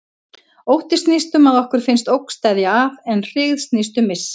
Ótti snýst um að okkur finnst ógn steðja að, en hryggð snýst um missi.